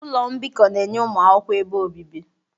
Ụlọ mbikọ na-enye ụmụ akwụkwọ ebe obibi.